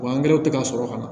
Wa angɛrɛw tɛ ka sɔrɔ ka na